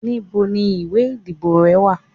ibò ni ìwè ìdíbò re wa?